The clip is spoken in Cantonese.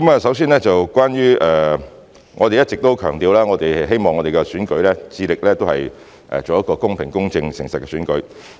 首先，我們一直也強調並致力希望我們的選舉是一個公平、公正及誠實的選舉。